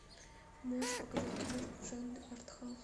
можешь показать киношку в жанре арт хаус